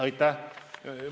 Aitäh!